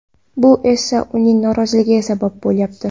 Bu esa uning noroziligiga sabab bo‘lyapti.